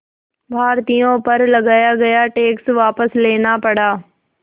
भारतीयों पर लगाया गया टैक्स वापस लेना पड़ा